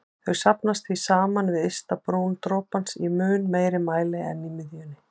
Þau safnast því saman við ystu brún dropans í mun meiri mæli en í miðjunni.